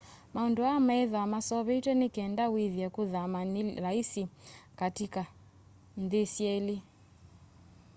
maundu aa methwaa maseuvitw'e ni kenda withie kuthama ni laisi kati ka nthi syeli